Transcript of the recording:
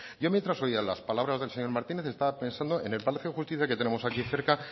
yo mientras oía las palabras del señor martínez estaba pensando en el palacio de justicia que tenemos aquí cerca